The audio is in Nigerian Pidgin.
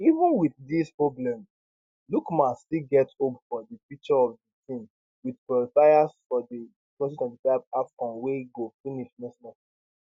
even wit dis problems lookman still get hope about di future of di team wit qualifiers for di 2025 afcon wey go finish next month